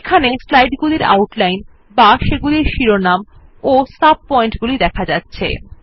এখানে স্লাইড গুলির আউটলাইন বা সেগুলির শিরোনাম ও সাব পয়েন্ট গুলি দেখা যাচ্ছে